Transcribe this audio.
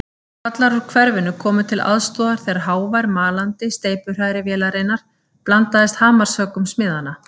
Kallar úr hverfinu komu til aðstoðar þegar hávær malandi steypuhrærivélarinnar blandaðist hamarshöggum smiðanna.